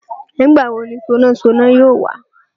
Nígbà wo ni sonásoná yóò wá?